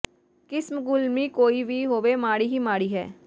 ਕਿਸਮ ਗੁਲਮੀ ਕੋਈ ਵੀ ਹੋਵੇ ਮਾੜੀ ਹੀ ਮਾੜੀ ਹੈ